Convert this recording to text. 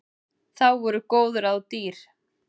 Þá voru góð ráð dýr!